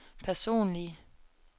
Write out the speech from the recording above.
personlige